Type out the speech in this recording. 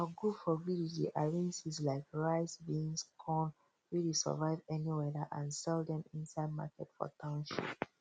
um our group for village dey arrange seeds like rice beans corn wey dey survive any weather and sell dem inside market for township